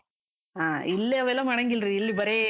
ಹಾ, ಇಲ್ಲಿ ಅವೆಲ್ಲ ಮಾಡಾಂಗಿಲ್ರಿ. ಇಲ್ಲಿ ಬರೇ.